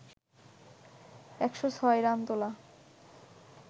১০৬ run তোলা